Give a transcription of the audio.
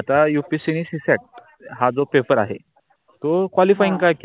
आता upsc नि csat हा जो पेपर आहे तो qualify काय केल.